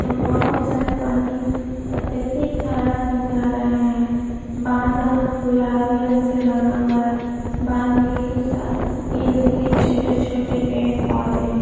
तो बहुत सारे पानी अत्यधिक धारा में जा रहा हैं। बांधा गुलाबी रंग से रंगा हुआ है। बांध के साथ इर्द-गिर्द छोटे-छोटे पेड़ पौधे हैं।